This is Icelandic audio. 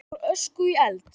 Úr ösku í eld?